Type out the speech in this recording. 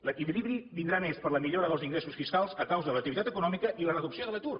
l’equilibri vindrà més per la millora dels ingressos fiscals a causa de l’activitat econòmica i la reducció de l’atur